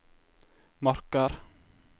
Marker